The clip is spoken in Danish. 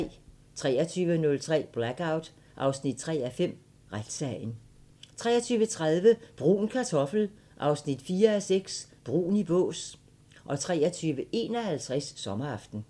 23:03: Blackout 3:5 – Retssagen 23:30: Brun Kartoffel 4:6 – Brun i bås 23:51: Sommeraften